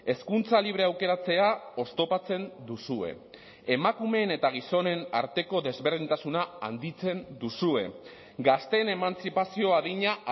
hezkuntza libre aukeratzea oztopatzen duzue emakumeen eta gizonen arteko desberdintasuna handitzen duzue gazteen emantzipazio adina